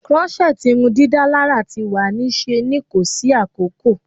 Crochet irundidalara ti wa ni ṣe ni ko si akoko